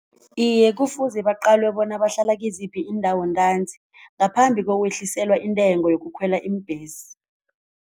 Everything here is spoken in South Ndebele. Iye, kufuze baqalwe bona bahlala kiziphi iindawo ntanzi ngaphambi kokwehliselwa intengo yokukhwela iimbhesi.